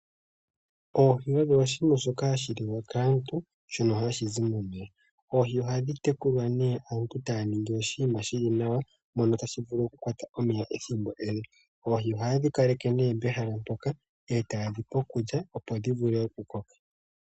Oohi odho oshinima shoka shi holike kaantu, shono hashi zi momeya. Oohi ohadhi tekulwa nee aantu taya ningi oshinima oshiwanawa mono hamu tulwa omeya . Oohi ohaye dhi kaleke nee pehala moka, etaye dhipe iikulya opo dhi vule oku koka.